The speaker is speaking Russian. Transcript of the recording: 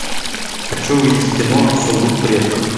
хочу увидеть кино сундук предков